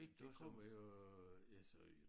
Det kommer jo øh altså jo